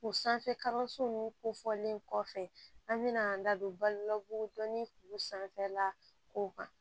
U sanfɛ kalanso nunnu kofɔlen kɔfɛ an bɛna an da don balo la kodɔnni kuru sanfɛla ko kan